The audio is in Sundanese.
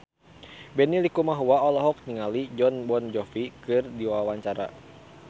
Benny Likumahua olohok ningali Jon Bon Jovi keur diwawancara